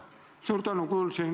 Suur tänu!